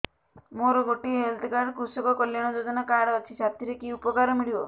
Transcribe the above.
ମୋର ଗୋଟିଏ health card କୃଷକ କଲ୍ୟାଣ ଯୋଜନା କାର୍ଡ ଅଛି ସାଥିରେ କି ଉପକାର ମିଳିବ